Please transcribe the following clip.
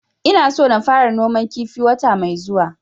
Ina so na fara noman kifi wata mai zuwa